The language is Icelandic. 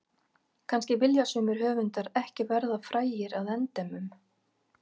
Kannski vilja sumir höfundar ekki verða frægir að endemum.